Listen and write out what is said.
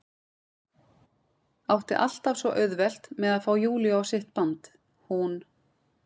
Átti alltaf svo auðvelt með að fá Júlíu á sitt band, hún